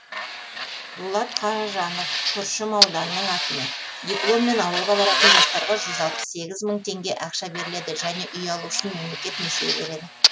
дулат қаажанов күршім ауданының әкімі дипломмен ауылға баратын жастарға мың теңге ақша беріледі және үй алу үшін мемлекет несие береді